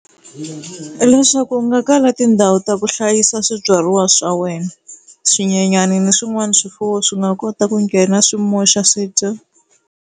Leswaku u nga kala tindhawu ta ku hlayisa swibyariwa swa wena, swinyenyani ni swin'wana swifuwo swi nga kota ku nghena swi moxa swi dya.